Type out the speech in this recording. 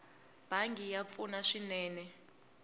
bangi ya pfuna swinene